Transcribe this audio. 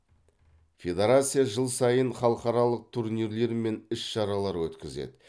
федерация жыл сайын халықаралық турнирлер мен іс шаралар өткізеді